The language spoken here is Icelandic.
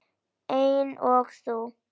Eins og þú.